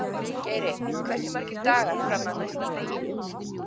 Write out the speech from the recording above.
Geiri, hversu margir dagar fram að næsta fríi?